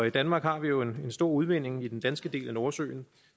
i danmark har vi jo en stor udvinding i den danske del af nordsøen